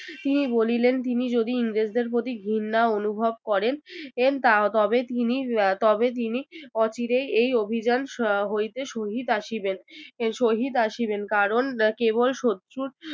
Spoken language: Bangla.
তিনি বলিলেন তিনি যদি ইংরেজদের প্রতি ঘিন্না অনুভব করেন তা তবে তিনি তবে তিনি অচিরেই এই অভিযান এর হইতে শহীদ আসিবেন শহীদ আসিবেন কারণ কেবল শত্রুর